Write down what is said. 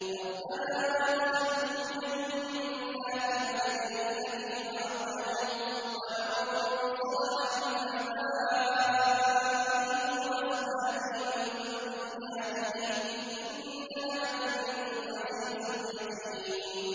رَبَّنَا وَأَدْخِلْهُمْ جَنَّاتِ عَدْنٍ الَّتِي وَعَدتَّهُمْ وَمَن صَلَحَ مِنْ آبَائِهِمْ وَأَزْوَاجِهِمْ وَذُرِّيَّاتِهِمْ ۚ إِنَّكَ أَنتَ الْعَزِيزُ الْحَكِيمُ